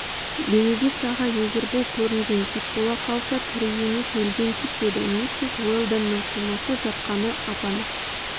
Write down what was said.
бенедикт ағай егер бұл көрінген кит бола қалса тірі емес өлген кит деді миссис уэлдононың қимылсыз жатқаны ап-анық